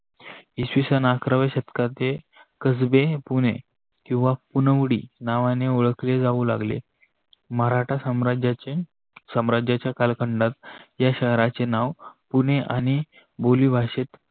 इसवी सन अकराव्या शतकात जे कजबे पुने किवा पुनवडी नावाने ओळखले जाऊ लागल. मराठा साम्राजाच्ये सम्राजाच्य कालखंडात या शहराचे नाव पुने आणि बोलीभाषेत